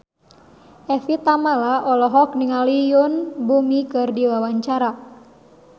Evie Tamala olohok ningali Yoon Bomi keur diwawancara